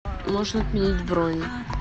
можно отменить бронь